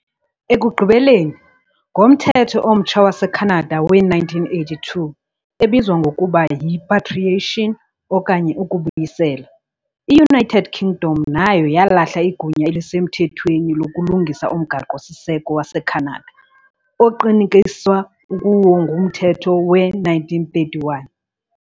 Ekugqibeleni, ngoMthetho omtsha waseKhanada we-1982, ebizwa ngokuba yi- "patriation" okanye "ukubuyisela", i- United Kingdom nayo yalahla igunya elisemthethweni lokulungisa umgaqo-siseko waseKhanada, oqinisekiswa kuwo nguMthetho we-1931.